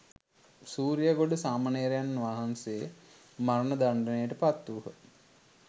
සූරියගොඩ සාමණේරයන් වහන්සේ මරණ දණ්ඩනයට පත්වූහ.